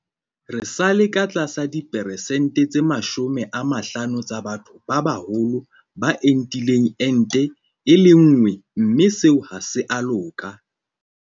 Re sa le ka tlasa diperesente tse 50 tsa batho ba baholo ba entileng ente e le nngwe mme seo ha se a loka.